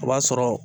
O b'a sɔrɔ